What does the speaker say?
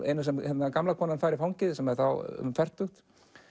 eina sem gamla konan fær í fangið sem er þá um fertugt